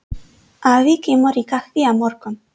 Afi kemur í kaffi á morgun.